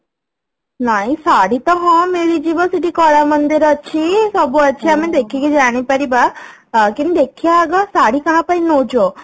ନାଇଁ ଶାଢ଼ୀ ତ ହଁ ମିଳିଯିବ ସେଠି କଳାମନ୍ଦିର ଅଛି ସବୁ ଅଛି ଆମେ ଦେଖିକି ଜାଣି ପାରିବା ହଁ କିନ୍ତୁ ଦେଖିବା ଆଗ ଶାଢ଼ୀ କାହା ପାଇଁ ନଉଛୁ